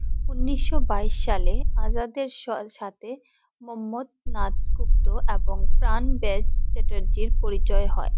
উনিশশো বাইস সালে আজাদের সাথে মন্মথ নাথ গুপ্ত এবং প্রাণ ডে চ্যাটার্জী পরিচয় হয়ে।